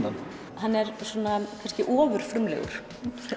hann hann er ofurfrumlegur hefur